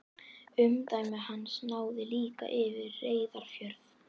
Umdæmi hans náði líka yfir Reyðarfjörð.